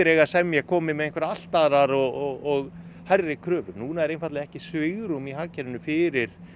eiga að semja komi með einhverjar allt aðrar og hærri kröfur núna er einfaldlega ekki svigrúm í hagkerfinu fyrir